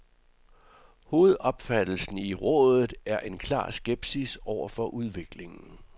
Hovedopfattelsen i rådet er en klar skepsis over for udviklingen.